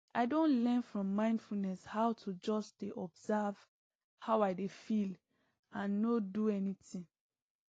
i don learn from mindfulness how to just dey observe how i dey feel and nor do anything